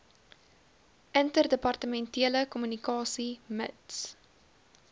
interdepartementele kommunikasie mits